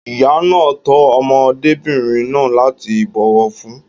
Ìyá náà tọ́ ọmọdébìnrin náà láti ìbòwọ̀fún.